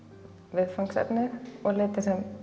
viðfangsefnið og liti